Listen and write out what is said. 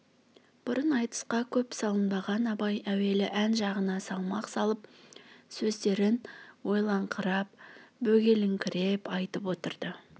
бұрын айтысқа көп салынбаған абай әуелі ән жағына салмақ салып сөздерін ойлаңқырап бөгеліңкіреп айтып отырды